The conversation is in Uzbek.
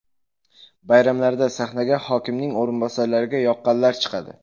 Bayramlarda sahnaga hokimning o‘rinbosarlariga yoqqanlar chiqadi.